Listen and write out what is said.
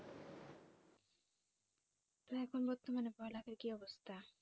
তো এখন বর্তমানে পড়া লেখার কি অবস্থা